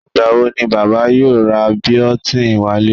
Ìgbà wo ni Bàbá yóò ra biotin wálé?